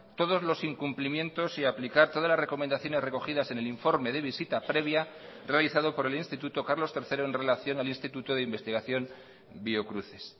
todos los incumplimientos y aplicar todas las recomendaciones recogidas en el informe de visita previa realizado por el instituto carlos tercero en relación al instituto de investigación biocruces